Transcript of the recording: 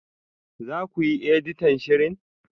Za ku yi editan shirin?